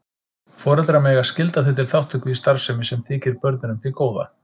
Foreldrar mega skylda þau til þátttöku í starfsemi sem þykir börnunum til góða.